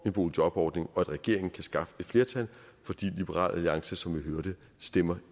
en boligjobordning og at regeringen kan skaffe et flertal fordi liberal alliance som vi hørte stemmer